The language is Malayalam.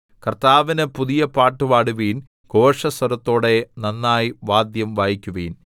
കർത്താവിന് പുതിയ പാട്ടുപാടുവിൻ ഘോഷസ്വരത്തോടെ നന്നായി വാദ്യം വായിക്കുവിൻ